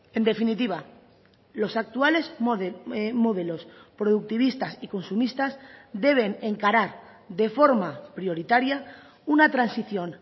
en definitiva los actuales modelos productivistas y consumistas deben encarar de forma prioritaria una transición